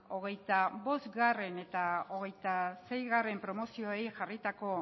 hogeita bost eta hogeita seigarrena promozioei jarritako